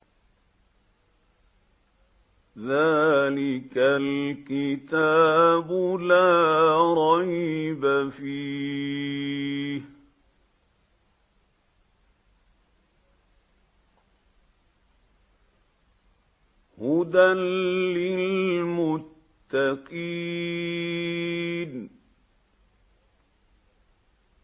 ذَٰلِكَ الْكِتَابُ لَا رَيْبَ ۛ فِيهِ ۛ هُدًى لِّلْمُتَّقِينَ